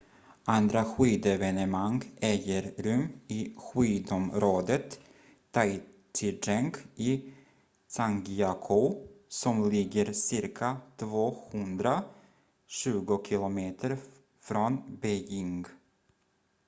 andra skidevenemang äger rum i skidområdet taizicheng i zhangjiakou som ligger cirka 220 km från beijing